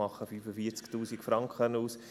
Diese machen 45’000 Franken aus.